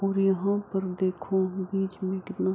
ओर यहा पर देखो बीच मैं कितना --